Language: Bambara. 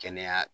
Kɛnɛya